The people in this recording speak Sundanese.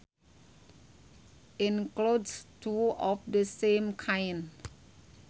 includes two of the same kind